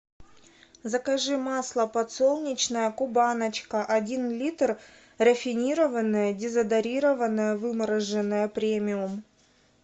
закажи масло подсолнечное кубаночка один литр рафинированное дезодорированное вымороженное премиум